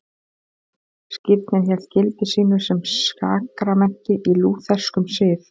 Skírnin hélt gildi sínu sem sakramenti í lútherskum sið.